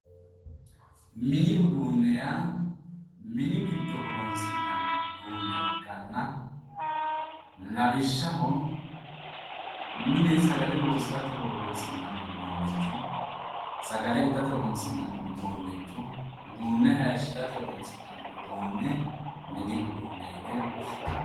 Mini uduunne yaa mini giddo horonsi'nanni uduunne ikkanna lawishshaho mine sagale loosirate horonsi'nanni uduunnicho sagale itate horonsi'nanni uduunnicho, uduunne haayiishirate horonsi'nanni udunne mini uduunne yine woshshinanni.